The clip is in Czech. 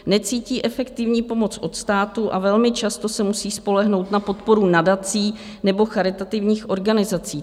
Necítí efektivní pomoc od státu a velmi často se musí spolehnout na podporu nadací nebo charitativních organizací.